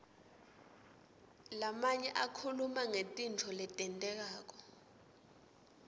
lamanye akhuluma ngetintfo letentekako